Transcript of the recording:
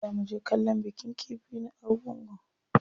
Za muje kallon bikin kifi na Argungu.